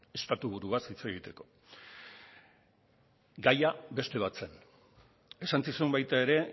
estatuburuaz hitz egiteko gaia beste bat zen esan zizun baita ere